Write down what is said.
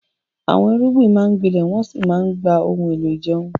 Àwọn irúgbìn máa ń gbilẹ̀ wọ́n sì ń gba àwọn ohun èlò ìjẹun.